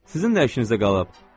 Sizin nə işinizə qalıb?